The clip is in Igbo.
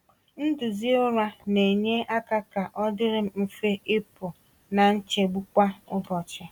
Nduzi ụra na-enye aka ka ọdịrị m mfe ịpụ na nchegbu kwa ụbọchị.